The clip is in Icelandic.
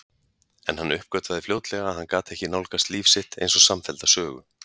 En hann uppgötvaði fljótlega að hann gat ekki nálgast líf sitt einsog samfellda sögu.